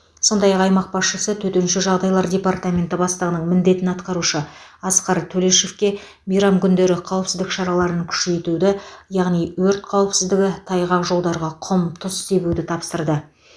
сондай ақ аймақ басшысы төтенше жағдайлар департаменті бастығының міндетін атқарушы асқар төлешовке мейрам күндері қауіпсіздік шараларын күшейтуді яғни өрт қауіпсіздігі тайғақ жолдарға құм тұз себуді тапсырды